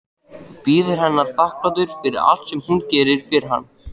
Bíður hennar þakklátur fyrir allt sem hún gerir fyrir hann.